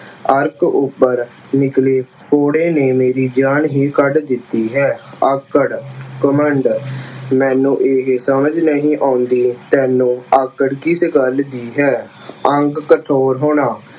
ਅਰਕ ਉੱਪਰ ਨਿਕਲੇ ਫੋੜੇ ਮੇਰੀ ਜਾਨ ਹੀ ਕੱਢ ਦਿੱਤੀ ਹੈ। ਆਕੜ, ਘਮੰਡ, ਮੈਨੂੰ ਇਹੇ ਸਮਝ ਨਹੀਂ ਆਉਂਦੀ ਤੈਨੂੰ ਆਕੜ ਕਿਸ ਗੱਲ ਦੀ ਹੈ। ਅੰਗ ਕਠੋਰ ਹੋਣਾ